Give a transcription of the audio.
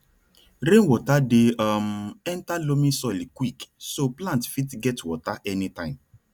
rainwater dey um enter loamy soil quick so plant fit get water anytime